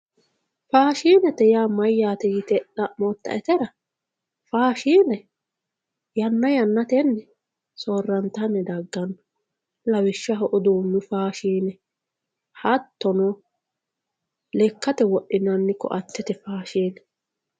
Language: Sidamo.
Faashinete yaa mayate yite xa`motaetera faashine yana yanateni soorantani dagano lawishaho uduunu fashine hattono lekate wodhinani ko`atete fashine